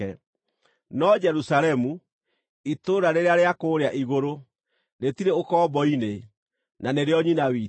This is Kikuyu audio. No Jerusalemu, itũũra rĩrĩa rĩa kũũrĩa igũrũ, rĩtirĩ ũkombo-inĩ, na nĩrĩo nyina witũ,